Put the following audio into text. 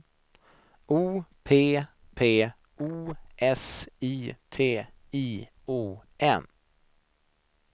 O P P O S I T I O N